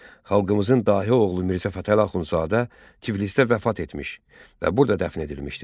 Xalqımızın dahi oğlu Mirzə Fətəli Axundzadə Tiflisdə vəfat etmiş və burada dəfn edilmişdir.